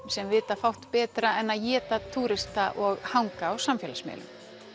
sem vita fátt betra en að éta túrista og hanga á samfélagsmiðlum